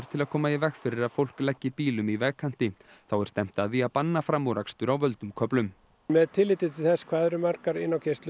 til að koma í veg fyrir að fólk leggi bílum í vegkanti þá er stefnt að því að banna framúrakstur á völdum köflum með tilliti til þess hvað eru margar